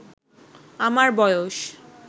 আমার বয়স